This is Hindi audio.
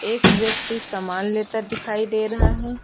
एक व्यक्ति समान लेता दिखाई दे रहा है।